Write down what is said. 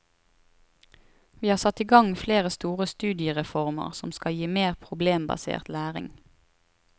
Vi har satt i gang flere store studiereformer som skal gi mer problembasert læring.